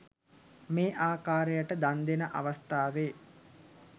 මේ ආකාරයට දන් දෙන අවස්ථාවේ